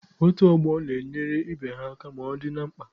Otu ọgbọ na-enyere ibe ha aka ma ọ dị na mkpa.